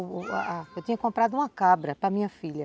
A eu tinha comprado uma cabra para minha filha.